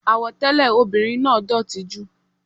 Àwọ̀ tẹlẹ ọmọbìnrin náà dótì jù.